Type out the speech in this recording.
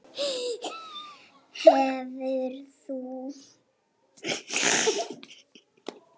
Hvernig ég fann fyrir þeim?